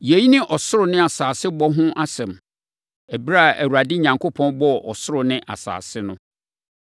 Yei ne ɔsoro ne asase bɔ ho asɛm. Ɛberɛ a Awurade Onyankopɔn bɔɔ ɔsoro ne asase no.